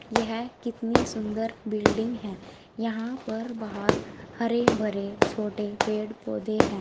यह कितनी सुंदर बिल्डिंग है यहां पर बाहर हरे भरे छोटे पेड़ पौधे हैं।